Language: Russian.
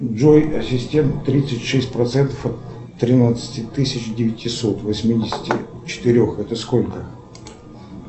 джой ассистент тридцать шесть процентов от тринадцати тысяч девятисот восьмидесяти четырех это сколько